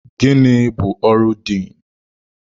Gịnị bụ ọrụ Diin?